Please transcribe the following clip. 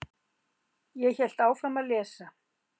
Ég hélt áfram að lesa.